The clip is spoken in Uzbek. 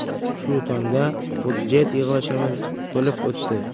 Shu tongda budjet yig‘ilishimiz bo‘lib o‘tdi.